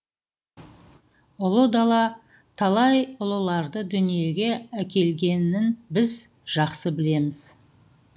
ұлы дала талай ұлыларды дүниеге әкелгенін біз жақсы білеміз